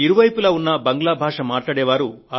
ఇరువైపులా ఉన్న బంగ్లా భాష మాట్లాడే వారు